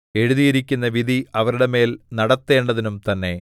എഴുതിയിരിക്കുന്ന വിധി അവരുടെ മേൽ നടത്തേണ്ടതിനും തന്നെ